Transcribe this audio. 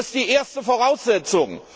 Das ist die erste Voraussetzung.